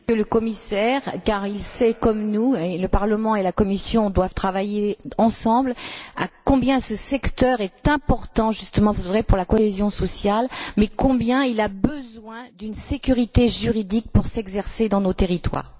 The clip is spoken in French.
Monsieur le Commissaire sait comme nous, et sur ce point le Parlement et la Commission doivent travailler ensemble, combien ce secteur est important justement pour la cohésion sociale et combien il a besoin d'une sécurité juridique pour s'exercer dans nos territoires.